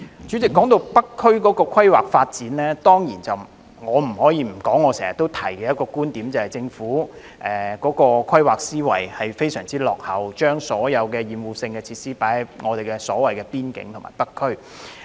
主席，談到北區的規劃發展，我必須重申我經常提出的一點，就是政府的規劃思維非常落後，將所有厭惡性設施設置在北區邊境地區。